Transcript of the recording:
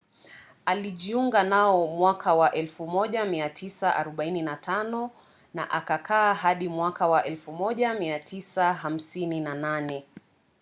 alijiunga nao mwaka wa 1945 na akakaa hadi mwaka wa 1958